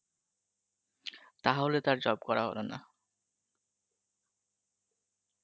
তাহলে তো আর job করা হলো না